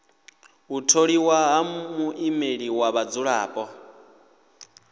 u tholiwa ha muimeleli wa vhadzulapo